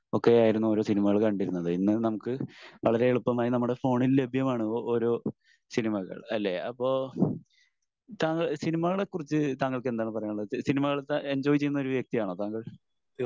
ഒക്കെയായിരുന്നു ഓരോ സിനിമകൾ കണ്ടിരുന്നത്. ഇന്ന് നമുക്ക് വളരേ എളുപ്പമായി നമ്മുടെ ഫോണിൽ ലഭ്യമാണ് ഓരോ സിനിമകൾ അല്ലെ? അപ്പൊ താങ്കൾ സിനിമകളെ കുറിച്ച് താങ്കൾക്ക് എന്താണ് പറയാൻ ഉള്ളത്? സിനിമകൾ എഞ്ചോയ് ചെയ്യുന്ന ഒരു വ്യക്തി ആണോ താങ്കൾ?